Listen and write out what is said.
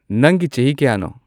ꯅꯪꯒꯤ ꯆꯍꯤ ꯀꯌꯥꯅꯣ